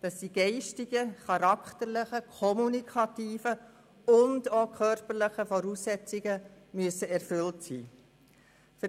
dass die geistigen, charakterlichen, kommunikativen und körperlichen Voraussetzungen erfüllt sein müssen.